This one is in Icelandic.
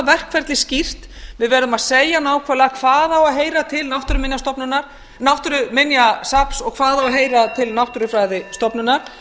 verkferlið skýrt við verðum að segja nákvæmlega hvað á að heyra til náttúruminjasafns og hvað á að heyra til náttúrufræðistofnunar